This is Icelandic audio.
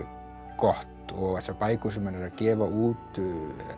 gott og þessar bækur sem hann er að gefa út